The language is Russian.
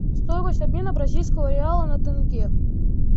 стоимость обмена бразильского реала на тенге